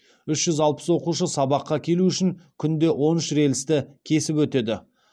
үш жүз алпыс оқушы сабаққа келу үшін күнде он үш рельсті кесіп өтеді